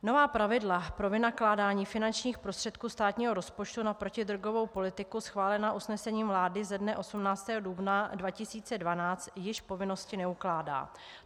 Nová pravidla pro vynakládání finančních prostředků státního rozpočtu na protidrogovou politiku schválená usnesením vlády ze dne 18. dubna 2012 již povinnosti neukládá.